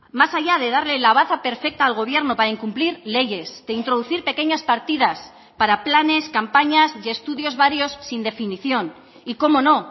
más allá de darle la baza perfecta al gobierno para incumplir leyes de introducir pequeñas partidas para planes campañas y estudios varios sin definición y cómo no